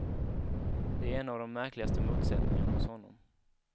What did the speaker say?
Det är en av de märkligaste motsättningarna hos honom.